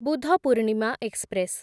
Budh Purnima express